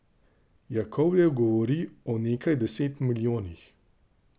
Jakovljev govori o nekaj deset milijonih.